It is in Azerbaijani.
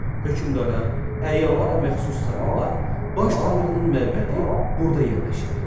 Hökmdara, əyanlara məxsus saraylar, baş tanrının məbədi burda yerləşirdi.